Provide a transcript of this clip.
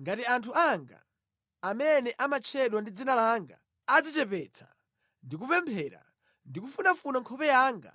ngati anthu anga, amene amatchedwa ndi dzina langa adzichepetsa ndi kupemphera ndi kufunafuna nkhope yanga,